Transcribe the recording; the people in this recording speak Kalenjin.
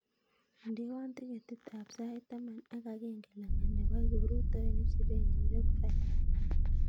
Indewon tiketit ab sait taman ak agenge langat nebo kibrutoinik chebendi rockville